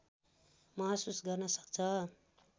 महसुस गर्न सक्छ